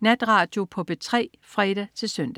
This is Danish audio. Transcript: Natradio på P3 (fre-søn)